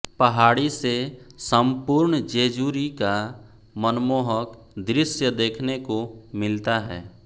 पहाड़ी से संपूर्ण जेजुरी का मनमोहक दृश्य देखने को मिलता है